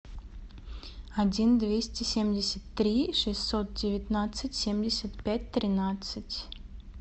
один двести семьдесят три шестьсот девятнадцать семьдесят пять тринадцать